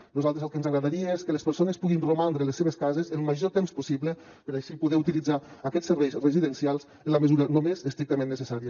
a nosaltres el que ens agradaria és que les persones puguin romandre a les seves cases el major temps possible per així poder utilitzar aquests serveis residencials en la mesura només estrictament necessària